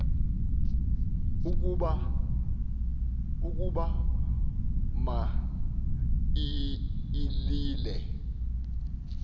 ukuba ma ilile